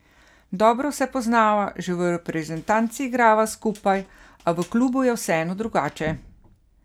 Dobro se poznava, že v reprezentanci igrava skupaj, a v klubu je vseeno drugače.